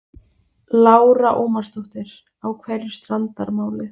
Lára Ómarsdóttir: Á hverju strandar málið?